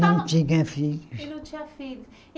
Não tinha filhos. E não tinha filho